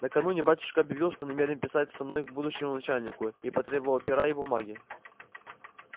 накануне батюшка объявил что намерен писать со мною к будущему моему начальнику и потребовал пера и бумаги